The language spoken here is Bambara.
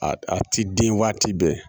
A a ti den waati bɛɛ